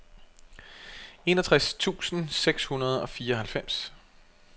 enogtres tusind seks hundrede og fireoghalvfems